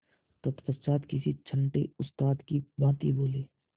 तत्पश्चात किसी छंटे उस्ताद की भांति बोले